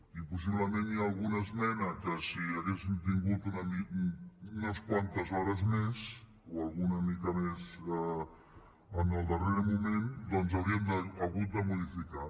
i possiblement hi ha alguna esmena que si haguéssim tingut unes quantes hores més o alguna mica més en el darrer moment doncs hauríem hagut de modificar